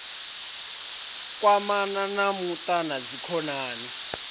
kwamana na muṱa na dzikhonani